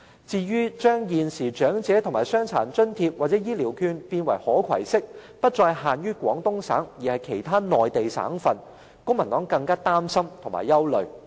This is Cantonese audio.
至於有建議把現時的長者及傷殘津貼或醫療券變為可攜式，不再限於廣東省，而可以在其他內地省份使用，公民黨認為更令人擔心和憂慮。